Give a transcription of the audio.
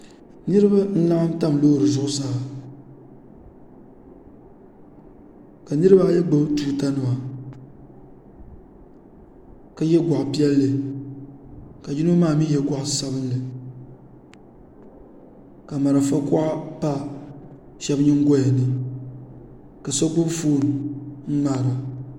Niriba n laɣim tam loori zuɣusaa ka niriba ayi gbubi tuuta nima ka yiɛ gɔɣili piɛlli ka yino maa ni yiɛ gɔɣili sabinli ka marafa kuɣa pa shɛba yingoya ni ka so gbubi foon n mŋaara.